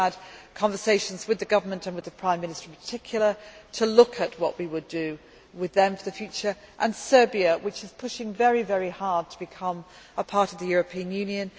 I have had conversations with the government and with the Prime Minister in particular, to look at what we would do with them in the future. Then there is Serbia, which is pushing very hard to become a part of the European Union.